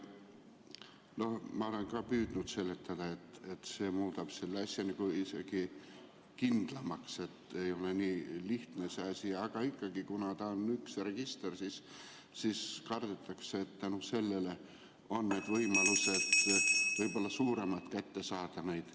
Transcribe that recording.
Ma olen ka püüdnud seletada, et see muudab selle asja isegi kindlamaks, et ei ole enam nii lihtne see asi, aga ikkagi, kuna on üks register, siis kardetakse, et tänu sellele on võimalus neid kätte saada suurem.